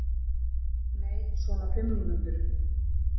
Nei, svona fimm mínútur.